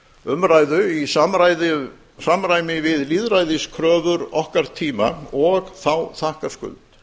umræðu í samræmi við lýðræðiskröfur okkar tíma og þá þakkarskuld